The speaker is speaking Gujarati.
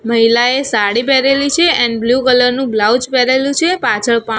મહિલાએ સાડી પેરેલી છે એન્ડ બ્લુ કલર નુ બ્લાઉઝ પેરેલું છે પાછળ પા--